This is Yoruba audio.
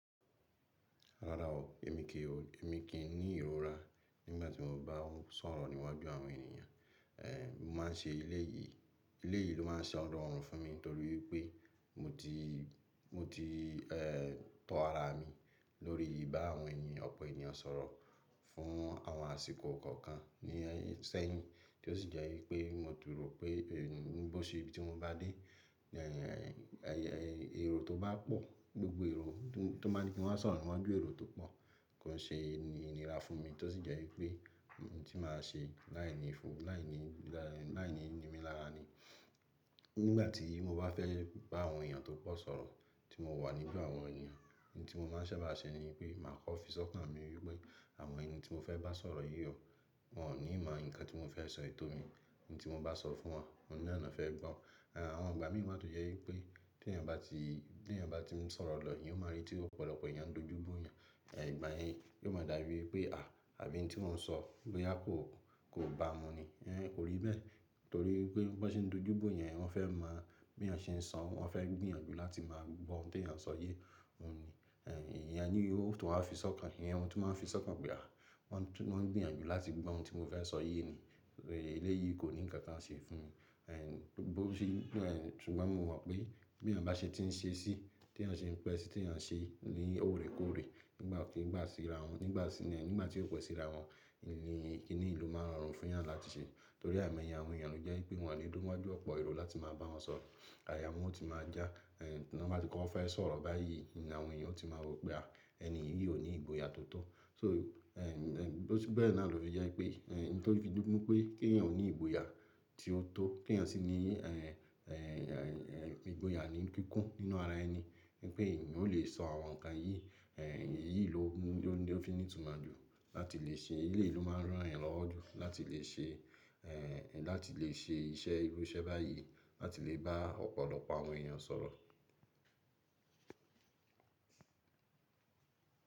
Rárá o, èmi kì í, èmi kì í ní ìrora nígbàtí mo bá ń sọ̀rọ̀ níwájú àwọn ènìyàn. Ehn, mo ma ń ṣe ẹlẹ́yìí, ẹlẹ́yìí ló ma ń ṣa rọ̀rùn fún mi torí pé mo ti, mo ti ehn tọ ara mi lórí ìbá àwọn ènìyàn ọ̀pọ̀ ènìyàn sọ̀rọ̀ fún àwọn àsìkò kọ̀ọ̀kan ní sẹ́yìn, tí ó sì jẹ́ wípé mo ti rò pé bí ó ṣe ibi tí mo bá dé, ẹ̀rò tó bá pọ̀, gbogbo èrò tó máa ni kí wa sọ̀rọ̀ níwájú èrò tó pọ̀ kò ṣe é ní ìnira fún mi, tó sì jẹ́ wípé ohun tí màá ṣe láìní ìfowó, láìní, láìní, láìní nìmílara ni. Nígbàtí mo bá fẹ́ bá àwọn ènìyàn tó pọ̀ sọ̀rọ̀, tí mo wà nígbà àwọn ènìyàn, ohun tí mo ma ń sẹba sẹ ni pé màá kọ́ fi sọ́kàn mi wípé àwọn ẹni tí mo fẹ́ bá sọ̀rọ̀ yìí o, wọn ò ní mọ nǹkan tí mo fẹ́ sọyi tò mi, ohun tí mo bá sọ fún wọn, òun náà ló fẹ́ gbọ́. Àwọn ìgbà mìíràn tọ jẹ́ wípé tí ènìyàn bá ti, tí ènìyàn bá ti ń sọ̀rọ̀ lọ, ìyẹn ó máa rí tí ọ̀pọ̀lọpọ̀ ènìyàn dojú bó yẹn. Ìgbà yẹn ló máa dàbí pé à, àbí ohun tí òun ń sọ boyà kò, kò bá a mu ni. Kò rí bẹ́ẹ̀ torí pé bí wọ́n ṣe ń dojú bó èèyàn, wọ́n fẹ́ mọ bí èèyàn ṣe ń sọ, wọ́n fẹ́ gbìyànjú láti máa gbọ́ ohun tí èèyàn sọ yé òun ni. Ẹ̀yìn ìyẹn, ní o tún wá fi sọ́kàn, ìyẹn ohun tí máa fi sọ́kàn pé, wọ́n gbìyànjú láti gbọ́ ohun tí mo fẹ́ sọ yé ni. Ilé yìí kò ní ǹkan kan ṣe fún mi. Bí ó ṣe, ṣùgbọ́n mo mọ̀ pé bí ènìyàn bá ṣe ti ń ṣe sí, tí ènìyàn ṣe ń pẹ́ sí, tí èèyàn ṣe ní òrèkóòrè nígbà tí ó ń ba síra wọ́n, nígbà tí ó pe síra wọ́n, ní kíní yìí ló máa rọrùn fún èèyàn láti ṣe. Torí àìmọ̀ye àwọn èèyàn ló jẹ́ pé wípé wọ́n lè dúró wájú ọ̀pọ̀ èrò láti máa bá wọn sọ̀rọ̀, àyà wọn o tí máa já. Wọ́n bá ti kọ́ ọ fẹ́ sọ̀rọ̀ báyìí ni àwọn èèyàn ó ti máa rò pé, ẹni yìí ò ní ìgboyà tó tó. So, bí ó ṣe bẹ́ẹ̀ náà ló jẹ́ pé ohun tó fi dúnkú pé kí ènìyàn ó ní ìgboyà tí ó tó, kí ènìyàn sì ní ìgboyà nìí kikun nínú ara ẹni wípé èèyàn ò lè sọ àwọn ǹkan yìí, èyí lò ní ó fi ní ìtumọ̀ ju láti lè ṣe, ilé yìí ló máa rán èeyàn lọ́wo ju láti lè ṣe láti lè ṣe iṣẹ́ irú iṣẹ́ báyìí, láti lè bá ọ̀pọ̀lọpọ̀ àwọn ènìyàn sọ̀rọ̀.